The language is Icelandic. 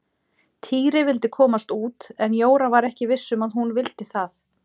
Týri vildi komast út en Jóra var ekki viss um að hún vildi það.